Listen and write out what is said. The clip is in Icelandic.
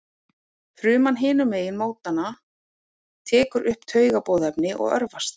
Fruman hinum megin mótanna tekur upp taugaboðefnið og örvast.